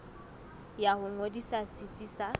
ya ho ngodisa setsi sa